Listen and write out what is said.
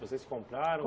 Vocês compraram?